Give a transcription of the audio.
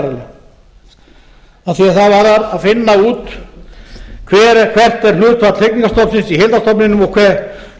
að því er það varðar að finna út hvert er hlutfall hrygningarstofnsins í heildarstofninum og hvað er